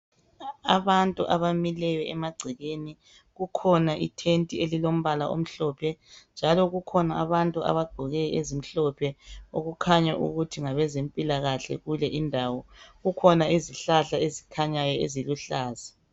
Abantu abamileyo emagcekeni kukhona ithenti elilombala omhlophe njalo kukhona abantu abagqoke ezimhlophe okukhanya ukuthi ngabantu bezempilakahle kule indawo kukhona izihlahla ezikhanyayo eziluhlaza.